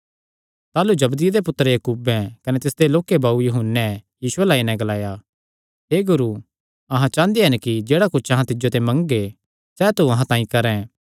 ताह़लू जबदिये दे पुत्तर याकूबे कने तिसदे लोक्के भाऊ यूहन्ने यीशु अल्ल आई नैं ग्लाया हे गुरू अहां चांह़दे हन कि जेह्ड़ा कुच्छ अहां तिज्जो ते मंगगे सैह़ तू अहां तांई करैं